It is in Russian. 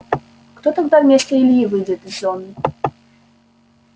кто тогда вместо ильи выйдет с зоны